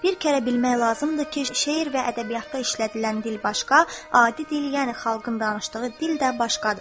Bir kərə bilmək lazımdır ki, şeir və ədəbiyyatda işlədilən dil başqa, adi dil, yəni xalqın danışdığı dil də başqadır.